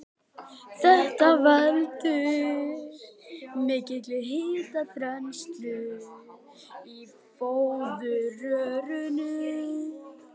Þetta veldur mikilli hitaþenslu í fóðurrörum.